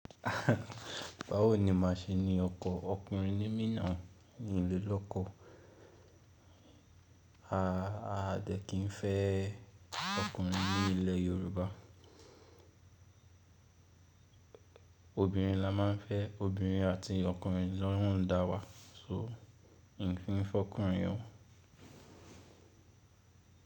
Báwo ni màá ṣe ní ọkọ ọkùnrin ní mí nau ní ilẹ̀ lọ́kọ̀? A dẹ̀ kín fẹ́ ọkùnrin ní ilẹ̀ Yoruba. Obìnrin la máa ń fẹ́, obìnrin àti ọkùnrin ló hún dá wa, so n kii fẹ́ ọkùnrin yẹn.